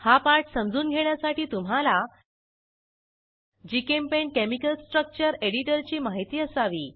हा पाठ समजून घेण्यासाठी तुम्हाला जीचेम्पेंट केमिकल स्ट्रक्चर एडिटरची माहिती असावी